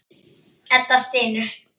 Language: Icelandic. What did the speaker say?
Edda stynur.